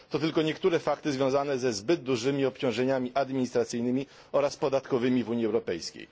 To tylko niektóre fakty związane ze zbyt dużymi obciążeniami administracyjnymi oraz podatkowymi w Unii Europejskiej.